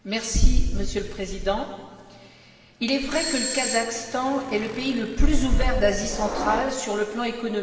Monsieur le Président, il est vrai que le Kazakhstan est le pays le plus ouvert d'Asie centrale sur le plan économique.